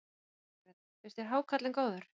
Jóhanna Margrét: Finnst þér hákarlinn góður?